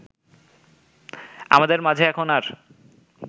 আমাদের মাঝে এখন আর